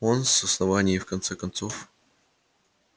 он с основания и в конце концов